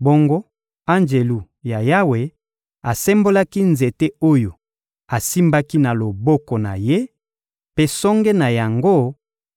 Bongo Anjelu ya Yawe asembolaki nzete oyo asimbaki na loboko na Ye, mpe songe na yango